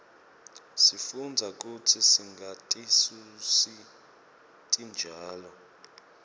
sifundza kutsi singatisusi titjalo